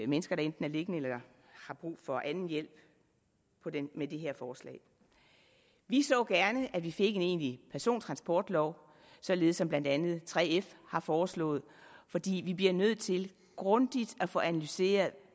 mennesker der enten er liggende eller har brug for anden hjælp med det her forslag vi så gerne at vi fik en egentlig persontransportlov således som blandt andet 3f har foreslået fordi vi bliver nødt til grundigt at få analyseret